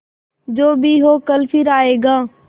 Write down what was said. जो भी हो कल फिर आएगा